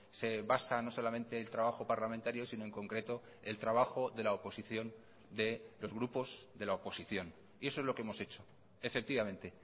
se basa no solamente el trabajo parlamentario sino en concreto el trabajo de la oposición de los grupos de la oposición y eso es lo que hemos hecho efectivamente